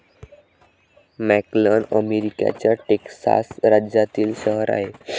McAllen अमेरिकेच्या Texas राज्यातील शहर आहे.